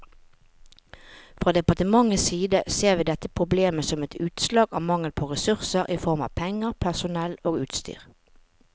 Fra departementets side ser vi dette problemet som et utslag av mangel på ressurser i form av penger, personell og utstyr.